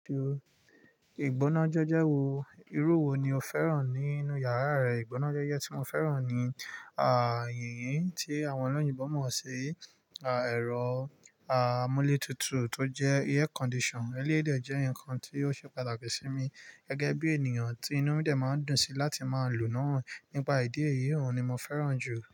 Ìgbónájẹ́jẹ́ wo, irú wo ni o fẹ́ràn nínú yàrá rẹ? Ìgbónájẹ́jẹ́ tí mo fẹ́ràn ni, yìnyín tí àwọn olóyìnbo mọ̀ sí, ẹ̀rọ, amúlé tutù tó jẹ́ air conditioner. Eléyi jẹ́ nǹkan tí ó ṣe pàtàkì sí mi gẹ́gẹ́ bí ènìyàn tí inú mí dẹ̀ máa ń dùn sí láti máa lò ó náà. Nípa ìdí èyí, òun ni mo fẹ́ràn jù.